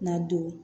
Na don